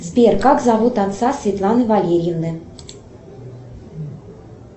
сбер как зовут отца светланы валерьевны